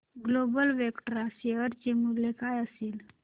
global Vectra share चे मूल्य काय असेल